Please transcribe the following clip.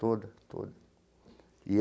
Toda, toda e.